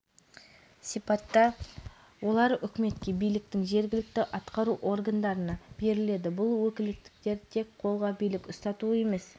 конституцияға соған орай еліміз заңнамаларына өзгерістер енгізетін уақыт пісіп жетті негізінен билік тармақтарына берілетін өкілеттіктер әлеуметтік-экономикалық